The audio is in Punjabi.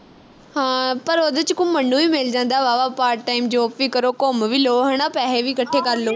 ਹਾਂ ਪਰ ਉਹਦੇ ਵਿਚ ਘੁੰਮਣ ਨੂੰ ਵੀ ਮਿਲ ਜਾਂਦਾ ਵਾਹਵਾ part time job ਵੀ ਕਰੋ ਘੁੰਮ ਵੀ ਲਉ ਹਣਾ ਪੈਹੇ ਵੀ ਇਕੱਠੇ ਕਰ ਲੋ